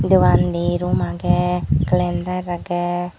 dogan di room agey kalendar agey.